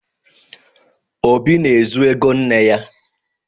Obi na-ezu ego nne ya.